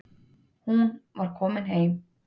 Hún var komin heim.